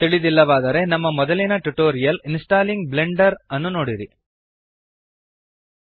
ತಿಳಿದಿಲ್ಲವಾದರೆ ನಮ್ಮ ಮೊದಲಿನ tutorials installing Blender installing Blender ನೋಡಿರಿ